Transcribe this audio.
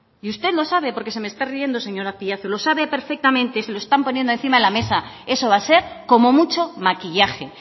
y usted lo sabe porque se me está riendo señor azpiazu lo sabe perfectamente se lo están poniendo encima de la mesa eso va a ser como mucho maquillaje